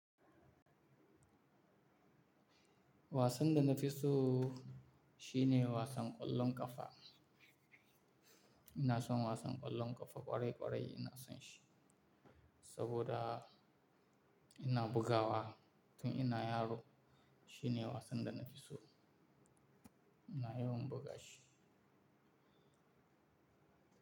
Wasan da na fi so shine wasan ƙwallon ƙafa. Ina son wasan ƙwallon ƙafa ƙwarai ƙwarai ina son shi. Saboda ina bugawa tun ina yaro shine wasan da na fi so. Ina yawan buga shi.